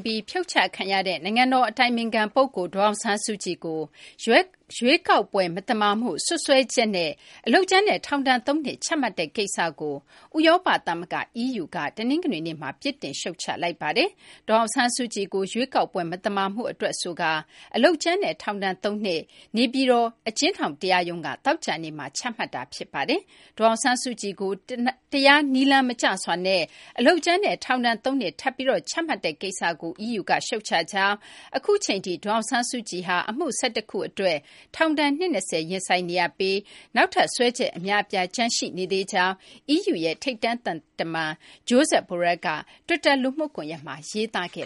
ပြီး ဖြုတ်ချခံရတဲ့ နိုင်ငံတော် အတိုင်ပင်ခံ ပုဂ္ဂိုလ် ဒေါ်အောင်ဆန်းစုကြည်ကို ရွေးကောက်ပွဲ မသမာမှု စွပ်စွဲချက်နဲ့ အလုပ်ကြမ်းနဲ့ ထောင်ဒဏ် ၃ နှစ် ချမှတ်တဲ့ ကိစ္စကို ဥရောပ သမဂ္ဂ EU က တနင်္ဂနွေနေ့မှာ ပြစ်တင် ရှုတ်ချလိုက်ပါတယ်။ ဒေါ်အောင်ဆန်းစုကြည်ကို ရွေးကောက်ပွဲမသမာမှု အတွက် ဆိုကာ အလုပ်ကြမ်းနဲ့ ထောင်ဒဏ် ၃ နှစ် နေပြည်တော် အကျဉ်းထောင်တရားရုံးက သောကြာနေ့မှာ ချမှတ်ခဲ့တာပါ။ ဒေါ်အောင်ဆန်းစုကြည်ကို တရားနည်းလမ်းမကျစွာနဲ့ အလုပ်ကြမ်းနဲ့ ထောင်ဒဏ် ၃ နှစ် ထပ်ပြီး ချမှတ်တဲ့ ကိစ္စကို EU က ရှုတ်ချကြောင်း၊ အခုအချိန်ထိ ဒေါ်အောင်ဆန်းစုကြည်ဟာ အမှု ၁၁ ခု အတွက် ထောင်ဒဏ် နှစ် ၂၀ ရင်ဆိုင်နေရပြီး နောက်ထပ် စွဲချက် အများအပြား ကျန်ရှိနေသေးကြောင်းလည်း EU ရဲ့ ထိပ်တန်း သံတမန် Josep Borrell က တွစ်တာ လူမှုကွန်ရက်မှာ ရေးသားခဲ့